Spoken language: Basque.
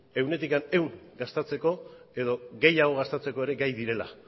ehunetik ehun gastatzeko edo gehiago gastatzeko ere gai direla